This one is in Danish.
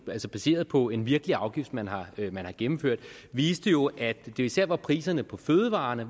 er altså baseret på en virkelig afgift man har man har gennemført viser jo at det især var priserne på fødevarer